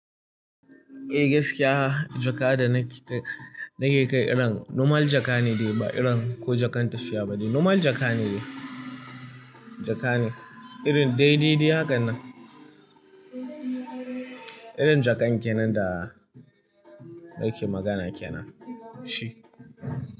Eh gaskiya jaka da nake kai irin normal jaka ne dai ba irin ko jakan tafiya ba ne. Normal jaka ne, jaka ne irin dai dai dai hakan nan. Irin jakan kenan da nake magana kenan shi.